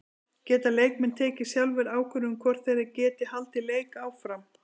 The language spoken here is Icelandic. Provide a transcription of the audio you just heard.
Geta leikmenn tekið sjálfir ákvörðun um hvort þeir geti haldið leik áfram?